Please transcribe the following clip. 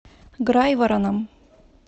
грайвороном